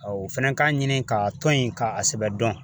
O fɛnɛ k'a ɲini k'a tɔn in k'a sɛbɛn dɔn